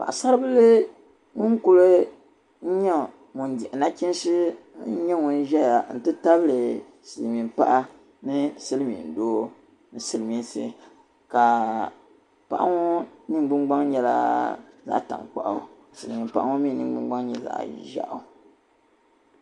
Paɣa saribli ŋun kuli nya ŋun dihi nachiinsi ŋuni nyɛ ŋun zaya n tabili silimiin paɣa ni si limin doo ni sili miinsi kaa paɣa ŋɔ ningbun gbaŋ nyɛla zaɣa tankpaɣu ka silimin paɣa ŋɔ mi ningbun gbaŋ nyɛ zaɣi ʒeɣu